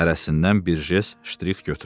Hərəsindən bir jest, ştirx götürün.